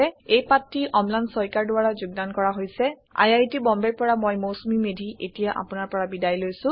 এই পাঠটি অম্লান শইকীয়াৰ দ্বাৰা যোগদান কৰা হৈছে মই Mousumi Medhi I I T বম্বেৰ পৰা বিদায় লৈছো